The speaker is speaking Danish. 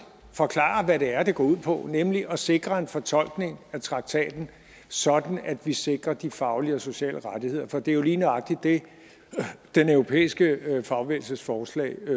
forklarer hvad det er det går ud på nemlig at sikre en fortolkning af traktaten sådan at vi sikrer de faglige og sociale rettigheder for det er jo lige nøjagtig det den europæiske fagbevægelses forslag